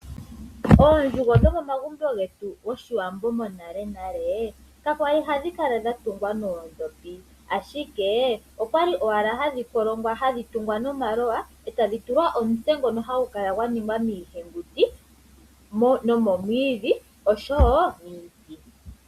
Oondjugo dhomomagumbo getu goshiwambo monalenale kakwali hadhi kala dha tungwa noodhopi, ashike okwali owala hadhi kolongwa, hadhi tungwa nomaloya, e tadhi tulwa omutse ngono hagu kala gwa ningwa miihenguti nomomwiidhi oshowo miiti.